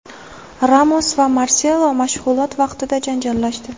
Ramos va Marselo mashg‘ulot vaqtida janjallashdi.